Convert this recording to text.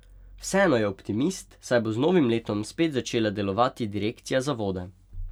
Vseeno je optimist, saj bo z novim letom spet začela delovati direkcija za vode.